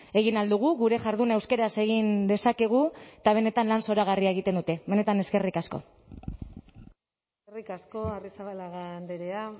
egin ahal dugu gure jarduna euskaraz egin dezakegu eta benetan lan zoragarria egiten dute benetan eskerrik asko eskerrik asko arrizabalaga andrea